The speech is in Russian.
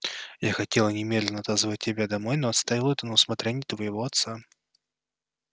я хотела немедленно отозвать тебя домой но оставила это на усмотрение твоего отца